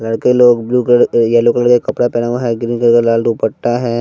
लड़के लोग blue colour yellow colour का कपड़ा पेहना हुआ है ग्रीन कलर का लाल दुपट्टा है।